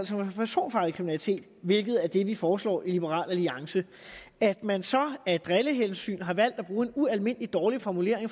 for personfarlig kriminalitet hvilket er det vi foreslår i liberal alliance at man så af drillehensyn har valgt at bruge en ualmindelig dårlig formulering